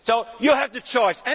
So you have the choice.